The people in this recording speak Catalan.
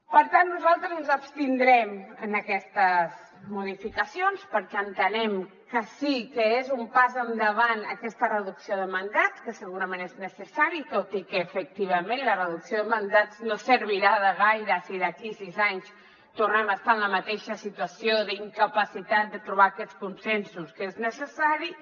per tant nosaltres ens abstindrem en aquestes modificacions perquè entenem que sí que és un pas endavant aquesta reducció de mandats que segurament és necessari tot i que efectivament la reducció de mandats no servirà de gaire si d’aquí a sis anys tornem a estar en la mateixa situació d’incapacitat de trobar aquests consensos que són necessaris